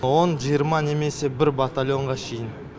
он жиырма немесе бір батальонға шейін